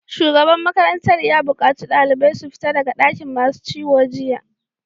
Shugaban makarantar ya bukaci ɗaliban su fita daga dakin masu ciwo jiya!